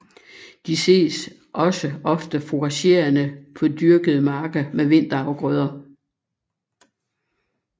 De ses også ofte fouragerende på dyrkede marker med vinterafgrøder